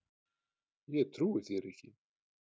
Ég trúi þér ekki!